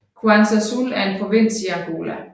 Cuanza Sul er en provins i Angola